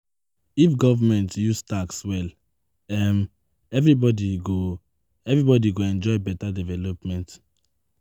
If government use tax well, um everybody go, everybody go enjoy beta development.